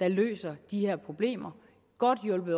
der løser de her problemer godt hjulpet